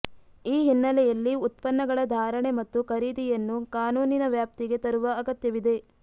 ಈ ಹಿನ್ನೆಲೆಯಲ್ಲಿ ಉತ್ಪನ್ನಗಳ ಧಾರಣೆ ಮತ್ತು ಖರೀದಿಯನ್ನು ಕಾನೂನಿನ ವ್ಯಾಪ್ತಿಗೆ ತರುವ ಅಗತ್ಯವಿದೆ